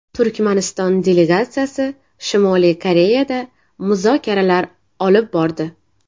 Turkmaniston delegatsiyasi Shimoliy Koreyada muzokaralar olib bordi.